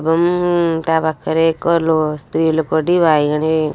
ଏବମ ଅ ଅ ତା ପାଖରେ ଏକ ଲୋ ସ୍ତ୍ରୀ ଲୋକ ଟି ବାଇଗଣି କ--